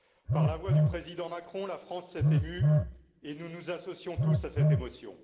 Par la voix du président Macron, la France s'est émue, et nous nous associons tous à cette émotion.